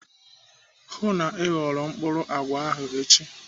Hụụ na Ị ghọrọ mkpụrụ àgwà ahụ echi.